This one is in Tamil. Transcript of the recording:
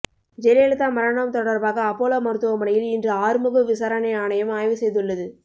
ஜெயலலிதா மரணம் தொடர்பாக அப்போலோ மருத்துவமனையில் இன்று ஆறுமுக விசாரணை ஆணையம் ஆய்வு செய்துள்ளது